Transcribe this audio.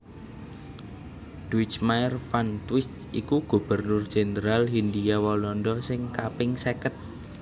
Duijmaer van Twist iku Gubernur Jendral Hindhia Walanda sing kaping seket